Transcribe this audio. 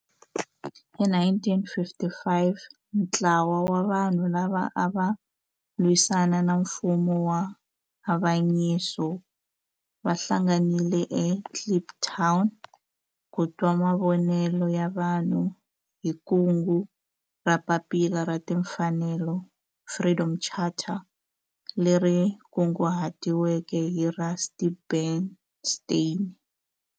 Hi 1955 ntlawa wa vanhu lava ava lwisana na nfumo wa avanyiso va hlanganile eKliptown ku twa mavonelo ya vanhu hi kungu ra Papila ra Tinfanelo, Freedom Charter, leri kunguhatiweke hi Rusty Bernstein.